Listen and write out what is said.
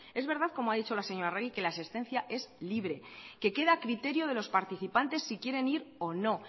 es verdad como ha dicho la señora arregi que la asistencia es libre que queda a criterio de los participantes si quieren ir o no